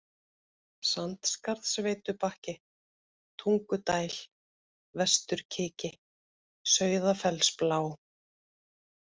Sandskarðsveitubakki, Tungudæl, Vesturkiki, Sauðafellsblá